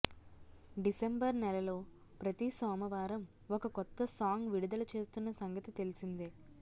December నెలలో ప్రతి సోమవారం ఒక కొత్త సాంగ్ విడుదల చేస్తున్న సంగతి తెలిసిందే